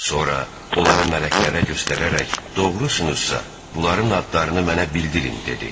Sonra onları mələklərə göstərərək doğrusunuzsa, bunların adlarını mənə bildirin dedi.